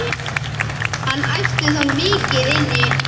Hann ætti þó mikið inni.